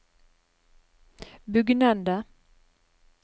bugnende